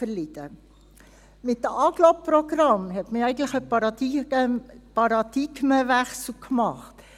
Mit den Agglo-Programmen hat man ja eigentlich einen Paradigmenwechsel gemacht.